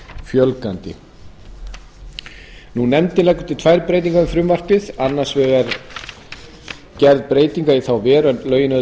fjölgandi nefndin leggur til tvær breytingar við frumvarpið er annars vegar gerð breyting í þá veru að lögin öðlist